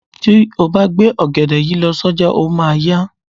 Tí o bá gbé ògèdè yìí lọ sí ọjà, o máa a yá.